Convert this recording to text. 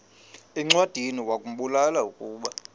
encwadiniwakhu mbula ukuba